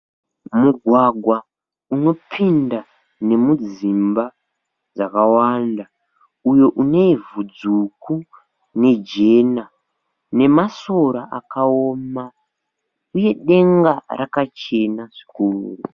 Mugwagwa unopinda nemudzimba dzakawanda umwe unevhu dzvuku nejena, nemasora akaoma uye denga rakachena zvikuru.